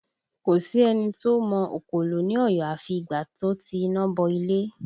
Kò sí ẹni tó mọ òkòlò ní Ọ̀yọ́ afi ìgbà tó ti iná bọ ilé